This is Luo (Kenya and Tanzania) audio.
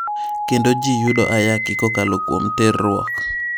Kendo ji yudo ayaki kokalo kuom terruok.